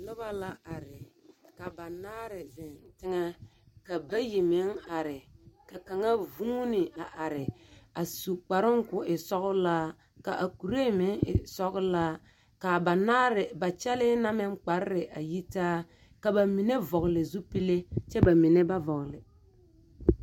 Noba la are, ka banaare zeŋ teŋɛ. Ka bayi meŋ are, ka kaŋa vuuni a are a su kparoŋ k'o e sɔgelaa, k'a kuree meŋ e sɔgelaa. K'a banaare ba kyɛlee na meŋ kparre a yitaa. Ka ba mine vɔgele zupille kyɛ ba mine ba vɔgele.